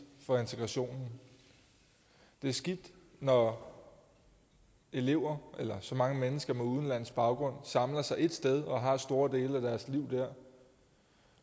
for integrationen det er skidt når elever eller så mange mennesker med udenlandsk baggrund samler sig et sted og har store dele af deres liv der